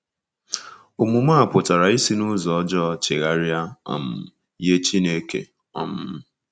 Omume a pụtara isi n’ụzọ ọjọọ chegharia um nye Chineke. um